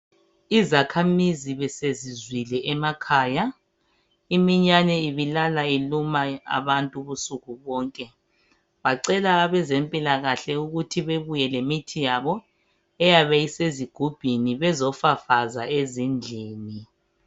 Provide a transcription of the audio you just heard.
Izakhamizi besezizwile emakhaya iminyane ibilala iluma abantu ubusuku bonke bacela abezempilakahle ukuthi bebuye lemithi yabo eyabe isezigubhini bezofafaza ezindlini.